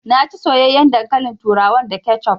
Na ci soyayyaen dankalin turawan da kecuf